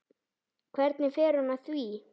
Hvernig fer hún að því?